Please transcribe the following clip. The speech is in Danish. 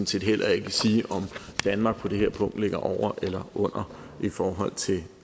set heller ikke sige om danmark på det her punkt ligger over eller under i forhold til